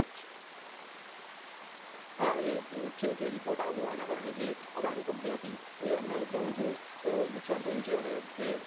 હા એ એક એવું છે કે report આવ્યું એના કારણે જે અદાણી company હતી તે એમને બહુ જ નુકસાન થયું છે અને તે